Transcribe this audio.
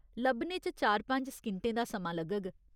लब्भने च चार पंज सकिंटें दा समां लग्गग।